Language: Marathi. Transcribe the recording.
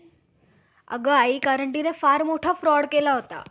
जो तर मग अशा आदम व दुराचारी ब्राम्हणाविषयी मनू~ मनुसंहिते कसा लेक आला. दो यावरून,